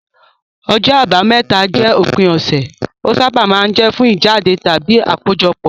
Ọjọ́ Àbámẹ́ta jẹ́ òpin ọ̀sẹ̀, ó sábà máa ń jẹ́ fún ìjáde tàbí àkójọpọ̀.